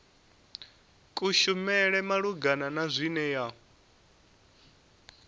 kushumele malugana na zwine ya